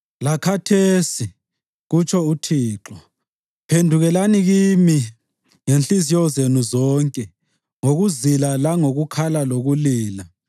“Lakhathesi,” kutsho uThixo, “phendukelani kimi ngenhliziyo zenu zonke, ngokuzila langokukhala lokulila.”